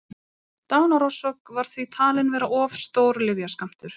dánarorsök var því talin vera of stór lyfjaskammtur